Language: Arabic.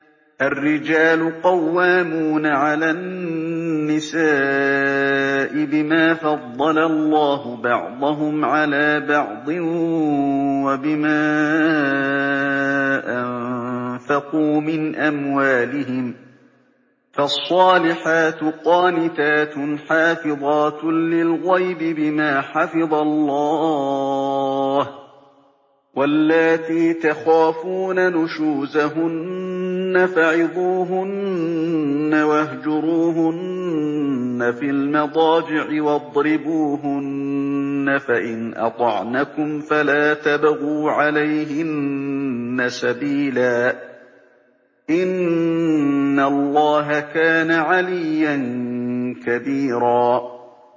الرِّجَالُ قَوَّامُونَ عَلَى النِّسَاءِ بِمَا فَضَّلَ اللَّهُ بَعْضَهُمْ عَلَىٰ بَعْضٍ وَبِمَا أَنفَقُوا مِنْ أَمْوَالِهِمْ ۚ فَالصَّالِحَاتُ قَانِتَاتٌ حَافِظَاتٌ لِّلْغَيْبِ بِمَا حَفِظَ اللَّهُ ۚ وَاللَّاتِي تَخَافُونَ نُشُوزَهُنَّ فَعِظُوهُنَّ وَاهْجُرُوهُنَّ فِي الْمَضَاجِعِ وَاضْرِبُوهُنَّ ۖ فَإِنْ أَطَعْنَكُمْ فَلَا تَبْغُوا عَلَيْهِنَّ سَبِيلًا ۗ إِنَّ اللَّهَ كَانَ عَلِيًّا كَبِيرًا